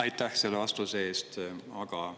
Aitäh selle vastuse eest!